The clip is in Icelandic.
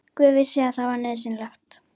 Guð vissi að það var nauðsynlegt.